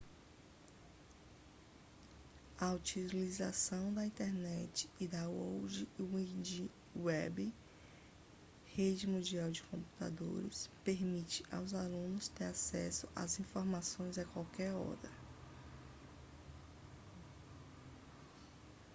a utilização da internet e da world wide web rede mundial de computadores permite aos alunos ter acesso às informações a qualquer hora